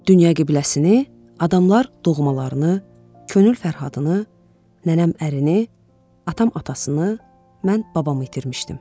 Dünya qibləsini, adamlar doğmalarını, könül Fərhadını, nənəm ərini, atam atasını, mən babamı itirmişdim.